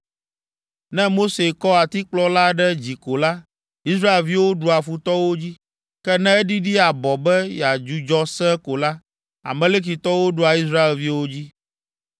Ne Mose kɔ atikplɔ la ɖe dzi ko la, Israelviwo ɖua futɔwo dzi. Ke ne eɖiɖi abɔ be yeadzudzɔ sẽe ko la, Amalekitɔwo ɖua Israelviwo dzi.